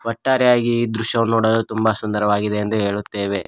ಒಟ್ಟರೆಯಾಗಿ ಈ ದೃಶ್ಯವನ್ನು ನೋಡಲು ತುಂಬ ಸುಂದರವಾಗಿದೆ ಎಂದು ಹೇಳುತ್ತೇವೆ.